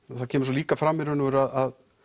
það kemur svo líka fram í raun og veru að